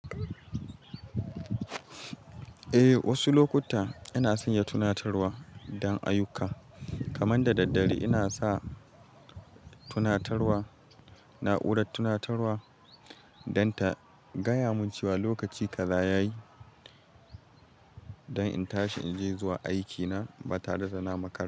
Eh, wasu lokuta ina sanya tunatarwa don ayyuka. Kaman da daddare ina sa tunatarwa, na'urar tunatarwa don ta gaya mun cewa lokaci kaza ya yi don in tashi in je zuwa aikina da tare na makar.